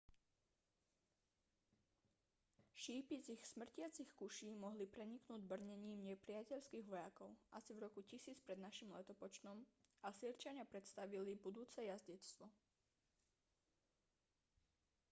šípy z ich smrtiacich kuší mohli preniknúť brnením nepriateľských vojakov asi v roku 1000 p.n.l. asýrčania predstavili budúce jazdectvo